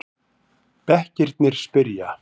Bekkirnir spyrja!